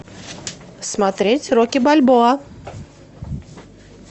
смотреть рокки бальбоа